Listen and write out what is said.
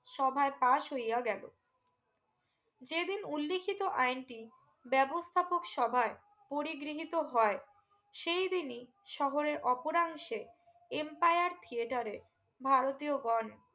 সভায় pass হইয়া গেলো যে দিন উল্লেখিত আইনটি ব্যবস্থাপক সবার পরিগৃহীত হয় সেই দিনি শহরের অপরাংশের Empire theatre ভারতীয় গন